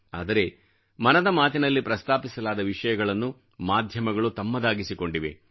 ಆದರೆ ಮನದ ಮಾತಿನಲ್ಲಿ ಪ್ರಸ್ತಾಪಿಸಲಾದ ವಿಷಯಗಳನ್ನು ಮಾಧ್ಯಮಗಳು ತಮ್ಮದಾಗಿಸಿಕೊಂಡಿವೆ